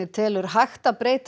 telur hægt að breyta